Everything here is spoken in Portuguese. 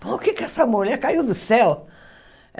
Por que que essa mulher caiu do céu?